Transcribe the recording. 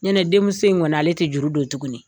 Ɲɛnɛ denmuso in kɔnɔ ale tɛ juru don tuguni